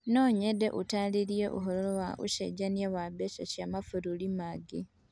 No nyende ũtaarĩrie ũhoro wa ũcenjania wa mbeca cia mabũrũri mangĩ